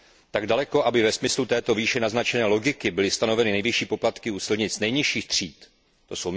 Tak daleko, aby ve smyslu této výše naznačené logiky byly stanoveny nejvyšší poplatky u silnic nejnižších tříd, tj.